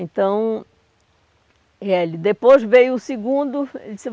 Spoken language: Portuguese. Então... Eh, depois veio o segundo, ele disse.